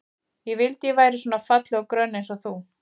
Ég vildi að ég væri svona falleg og grönn eins og þú.